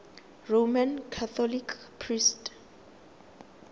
roman catholic priest